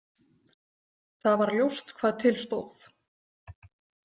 Það var ljóst hvað til stóð.